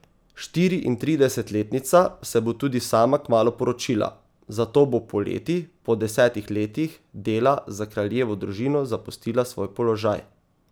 Štiriintridesetletnica se bo tudi sama kmalu poročila, zato bo poleti po desetih letih dela za kraljevo družino zapustila svoj položaj.